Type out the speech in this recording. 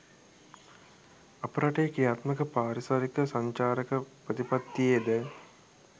අප රටේ ක්‍රියාත්මක පාරිසරික සංචාරක ප්‍රතිපත්තියේ ද